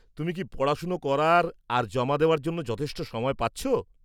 তুমি কি পড়াশোনা করার আর জমা দেওয়ার জন্য যথেষ্ট সময় পাচ্ছ?